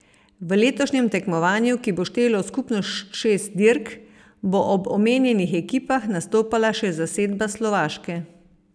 V letošnjem tekmovanju, ki bo štelo skupno šest dirk, bo ob omenjenih ekipah nastopala še zasedba Slovaške.